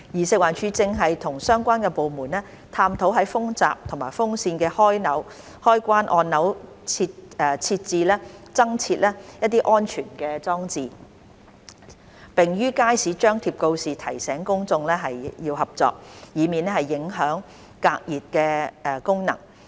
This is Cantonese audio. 食環署正與相關部門探討在風閘及風扇的開關按鈕增設安全裝置，並於街市張貼告示提醒公眾合作，以免影響隔熱功能。